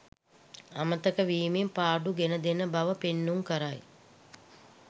අමතක වීමෙන් පාඩු ගෙන දෙන බව පෙන්නුම් කරයි.